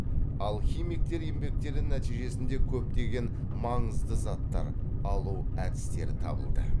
алхимиктер еңбектері нәтижесінде көптеген маңызды заттар алу әдістері табылды